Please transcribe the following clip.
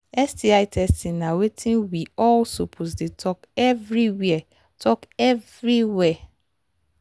sti testing na watin we all suppose they talk everywhere talk everywhere